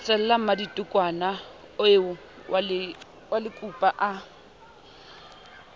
thesela mmadikotwana eo malekupa a